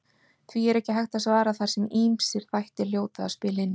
Því er ekki hægt að svara þar sem ýmsir þættir hljóta að spila inn í.